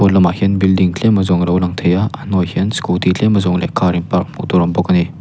hmalamah hian building tlem a zawng alo lang thei a a hnuai ah hian scooty tlem a zawng leh car in park hmuh tur a awm bawk ani.